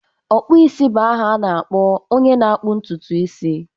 Ọkpụisi bụ aha na-akpọ onye na-akpụ ntutu isi